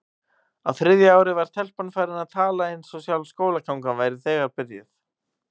Á þriðja ári var telpan farin að tala eins og sjálf skólagangan væri þegar byrjuð.